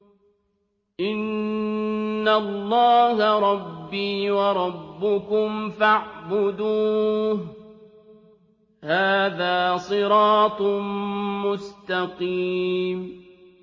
إِنَّ اللَّهَ رَبِّي وَرَبُّكُمْ فَاعْبُدُوهُ ۗ هَٰذَا صِرَاطٌ مُّسْتَقِيمٌ